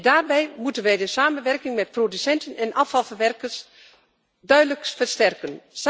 Daarbij moeten wij de samenwerking met producenten en afvalverwerkers duidelijk versterken.